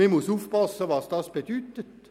Man muss aufpassen, was das bedeutet.